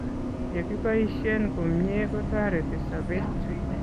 Yekiboisien komyee kotoreti sobeet